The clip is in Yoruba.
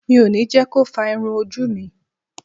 Mi ò ní jẹ́ ko fá irun ojú mi.